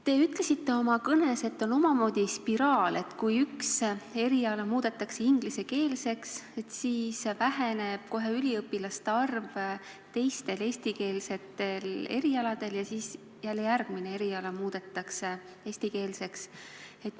Te ütlesite oma kõnes, et see on omamoodi spiraal: kui üks eriala muudetakse ingliskeelseks, siis väheneb kohe üliõpilaste arv teistel, eestikeelsetel erialadel, mille tagajärjel muudetakse järgmine eriala ingliskeelseks.